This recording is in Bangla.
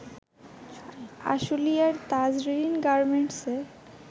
আশুলিয়ায় তাজরীন গার্মেন্টসে